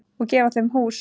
Og gefa þeim hús.